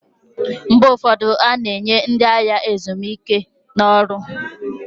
Mgbe ụfọdụ, a na-enye ndị agha ezumike n'ọrụ